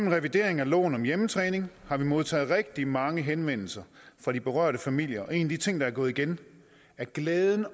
af revideringen af loven om hjemmetræning har vi modtaget rigtig mange henvendelser fra de berørte familier og en af de ting der er gået igen er glæden